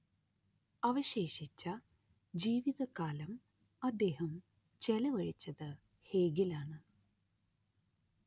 അവശേഷിച്ച ജീവിതകാലം അദ്ദേഹം ചെലവഴിച്ചത് ഹേഗിലാണ്